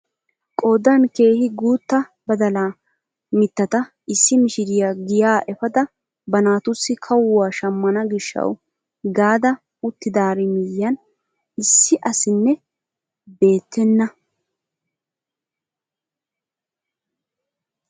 Qoodan keehi guutta badalaa mittata issi mishiriyaa giyaa epaada ba naatussi kawuwa shammana gishshawu gaada uttidaari miyiyaan issi asinne beettena!